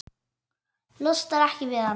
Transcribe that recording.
Losnar ekki við hann.